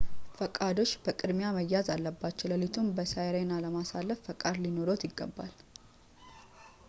ፈቃዶች በቅድሚያ መያዝ አለባቸው። ለሊቱን በsirena ለማሳለፍ ፈቃድ ሊኖርዎት ይገባል